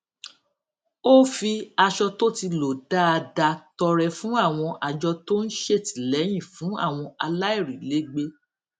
ó fi aṣọ tó ti lò dáadáa tọrẹ fún àwọn àjọ tó ń ṣètìléyìn fún àwọn aláìrílégbé